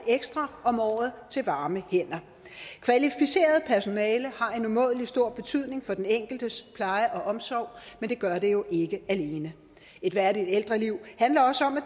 ekstra om året til varme hænder kvalificeret personale har en umådelig stor betydning for den enkeltes pleje og omsorg men det gør det jo ikke alene et værdigt ældreliv handler også om at